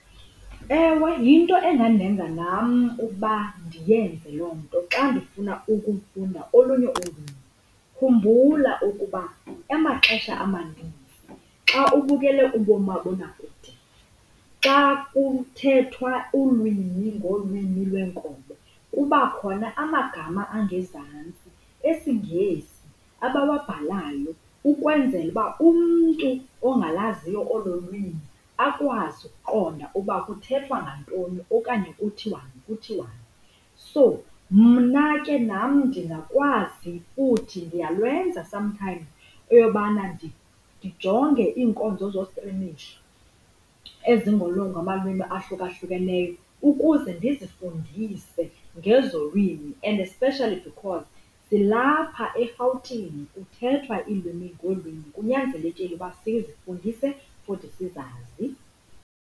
Ewe, yinto engandenza nam uba ndiyenze loo nto xa ndifuna ukufunda olunye ulwimi. Khumbula ukuba amaxesha amanintsi xa ubukele umabonakude xa kuthethwa ulwimi ngolwimi lweenkobe kuba khona amagama angezantsi esiNgesi abawabhalayo ukwenzela uba umntu ongalaziyo olo lwimi akwazi ukuqonda uba kuthethwa ngantoni okanye kuthiwani, kuthiwani. So, mna ke nam ndingakwazi futhi ndiyalwenza sometimes eyobana ndijonge iinkonzo zostrimisho ngamalwimi ahlukahlukeneyo ukuze ndizifundise ngezo lwimi. And especially because silapha eRhawutini kuthethwa iilwimi ngeelwimi, kunyanzelekile uba sizifundise futhi sizazi.